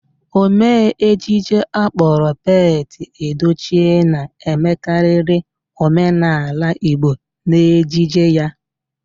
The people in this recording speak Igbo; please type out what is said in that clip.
Omee ejije akpọrọ Pete Edochie na-emekarịrị omenaala Igbo n'ejije ya.